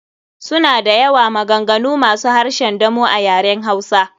Suna da yawa, maganganu masu harshen damo a yaren hausa.